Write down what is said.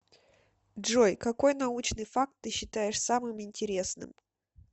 джой какой научный факт ты считаешь самым интересным